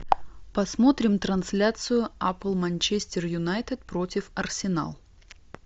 посмотрим трансляцию апл манчестер юнайтед против арсенал